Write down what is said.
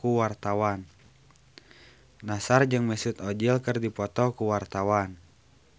Nassar jeung Mesut Ozil keur dipoto ku wartawan